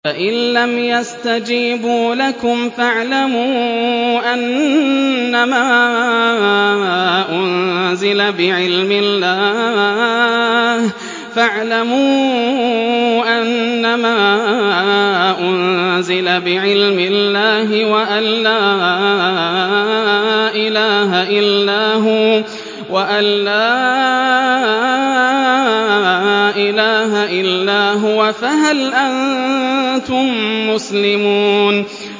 فَإِلَّمْ يَسْتَجِيبُوا لَكُمْ فَاعْلَمُوا أَنَّمَا أُنزِلَ بِعِلْمِ اللَّهِ وَأَن لَّا إِلَٰهَ إِلَّا هُوَ ۖ فَهَلْ أَنتُم مُّسْلِمُونَ